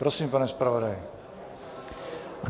Prosím, pane zpravodaji.